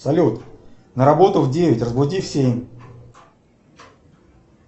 салют на работу в девять разбуди в семь